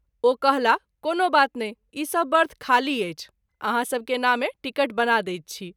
ओ कहलाह कोनो बात नहिं ई सभ बर्थ खाली अछि आहाँ सभ के नामे टीकट बना दैत छी।